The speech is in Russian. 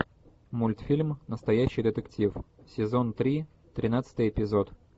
мультфильм настоящий детектив сезон три тринадцатый эпизод